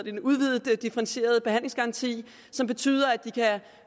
en udvidet differentieret behandlingsgaranti som betyder at de kan